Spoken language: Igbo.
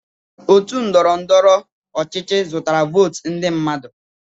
Otu ndọrọ ndọrọ ọchịchị zụtara votu ndị mmadụ.